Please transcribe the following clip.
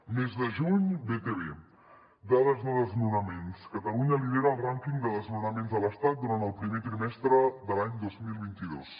mes de juny betevé dades de desnonaments catalunya lidera el rànquing de desnonaments a l’estat durant el primer trimestre de l’any dos mil vint dos